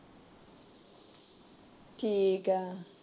ਠੀਕ ਏ।